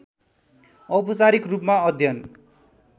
औपचारिक रूपमा अध्ययन